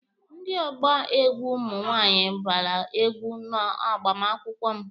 Ndị ọgba egwu ụmụ nwaanyị gbara egwu n'agbamakwụkwọ m.